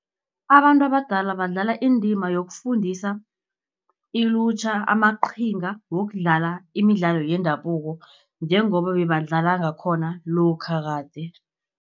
Abantu abadala badlala indima yokufundisa ilutjha, amaqhinga wokudlala imidlalo yendabuko, njengoba bebadlala ngakhona lokha kade.